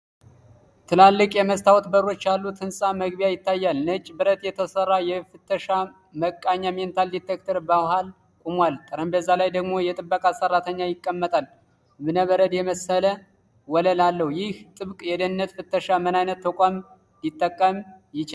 ትላልቅ የመስታወት በሮች ያሉት የሕንፃ መግቢያ ይታያል። ነጭ ብረት የተሠራ የፍተሻ መቃኛ (metal detector) በመሃል ቆሟል፤ ጠረጴዛ ላይ ደግሞ የጥበቃ ሠራተኛ ይቀመጣል። እብነበረድ የመሰለ ወለል አለው፤ ይህ ጥብቅ የደህንነት ፍተሻ ምን አይነት ተቋም ሊጠቁም ይችላል?